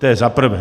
To je za prvé.